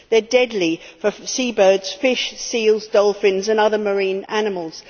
They are deadly for seabirds, fish, seals, dolphins and other marine animals.